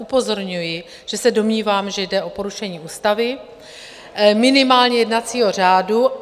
Upozorňuji, že se domnívám, že jde o porušení ústavy, minimálně jednacího řádu.